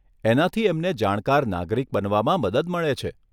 એનાથી એમને જાણકાર નાગરિક બનવામાં મદદ મળે છે.